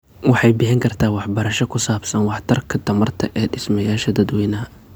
Waxay bixin kartaa waxbarasho ku saabsan waxtarka tamarta ee dhismayaasha dadweynaha.